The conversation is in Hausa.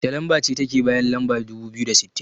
Wacce lamba ce take bayan lamba dubu biyu da sittin?